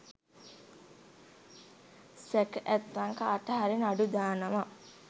සැක ඇත්නම් කාටහරි නඩු දානවා.